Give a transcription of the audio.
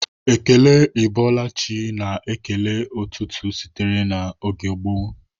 Ekele 'Ị bọọla chi' a na-ekele n'ụtụtụ sitere na oge gboo.